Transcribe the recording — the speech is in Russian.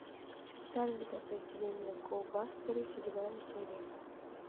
специальное подразделение го бастеры седьмая серия